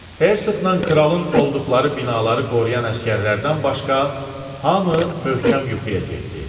Hersoqla kralın olduqları binaları qoruyan əsgərlərdən başqa, hamı möhkəm yuxuya getdi.